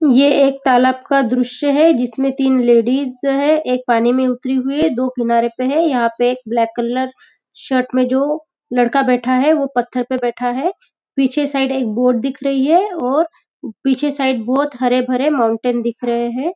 यह एक तालाब का दृश्य है जिसमे तीन लेडीज है एक पानी में उतरी हुई है दो किनारे पे है यहाँ पे एक ब्लेक कलर शर्ट में जो लड़का बैठा है वो पत्थर पे बैठा है पीछे साइड एक बोर्ड दिख रही है और पीछे साइड बहुत हरे भरे माउंटेन दिख रहे है।